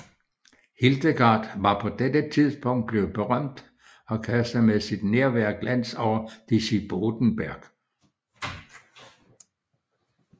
Hildegard var på dette tidspunkt blevet berømt og kastede med sit nærvær glans over Disibodenberg